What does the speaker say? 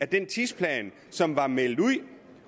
den tidsplan som var meldt ud